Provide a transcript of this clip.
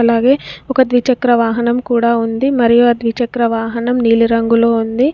అలాగే ఒక ద్విచక్ర వాహనం కూడా ఉంది మరియు ఆ ద్విచక్ర వాహనం నీలిరంగులో ఉంది.